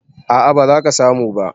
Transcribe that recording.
A'a, ba za ka samu ba